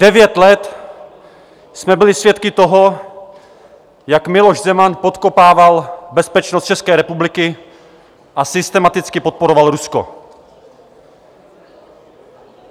Devět let jsme byli svědky toho, jak Miloš Zeman podkopával bezpečnost České republiky a systematicky podporoval Rusko.